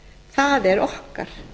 það er okkar